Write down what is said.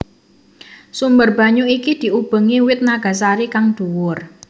Sumber banyu iki diubengi wit nagasari kang dhuwur